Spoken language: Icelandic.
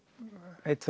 einu